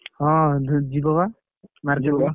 ହଁ ଯିବ ବା।